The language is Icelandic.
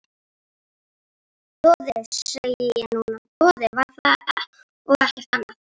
Doði, segi ég núna, doði var það og ekkert annað.